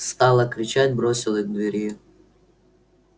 стала кричать бросилась к двери